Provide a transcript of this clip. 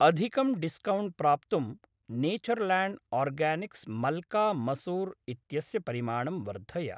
अधिकं डिस्कौण्ट् प्राप्तुं Natureland Organics मल्का मसूर् इत्यस्य परिमाणं वर्धय।